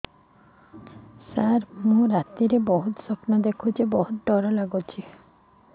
ସାର ମୁ ରାତିରେ ଭୁତ ସ୍ୱପ୍ନ ଦେଖୁଚି ବହୁତ ଡର ଲାଗୁଚି